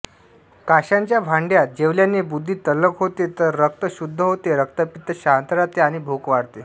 कांशाच्या भांड्यात जेवल्याने बुद्धी तल्लख होते रक्त शुद्ध होते रक्तपित्त शांत राहते आणि भूक वाढते